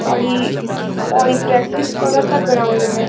और ये और ये प्रेक्टिस करता ग्राउंड में।